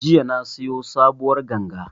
Jiya na siyo sabuwar ganga